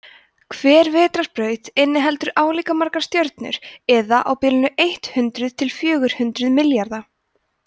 hver vetrarbraut inniheldur álíka margar stjörnur eða á bilinu eitt hundruð til fjögur hundruð milljarða